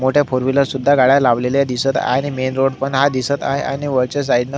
मोठ्या four wheeler सुद्धा गाड्या लावलेल्या दिसत आहे आणि मेन रोड पण दिसत आहे आणि वरच्या साइड न--